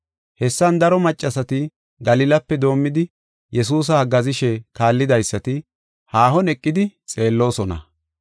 Hessan daro maccasati, Galilape doomidi Yesuusa haggaazishe kaallidaysati haahon eqidi xeelloosona.